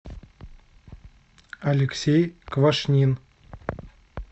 алексей квашнин